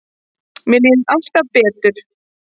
Mér líður alltaf betur.